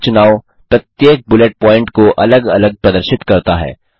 यह चुनाव प्रत्येक बुलेट प्वॉइंट को अलग अलग प्रदर्शित करता है